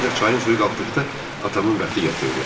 Ancaq çayın suyu qalxdıqda atamın bəxti gətirdi.